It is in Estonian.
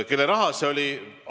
Kelle raha see oli?